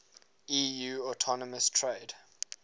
eu autonomous trade